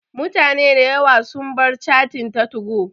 Mutane da yawa sun bar cattin ta 2go